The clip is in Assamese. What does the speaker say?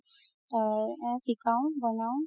শিকাও বনাও